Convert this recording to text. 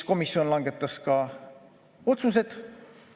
Komisjon langetas ka otsused.